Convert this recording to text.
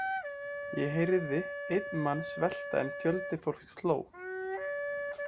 Ég heyrði einn mann svelta en fjöldi fólks hló.